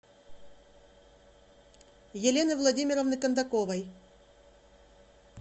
елены владимировны кондаковой